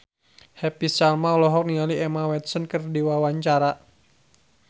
Happy Salma olohok ningali Emma Watson keur diwawancara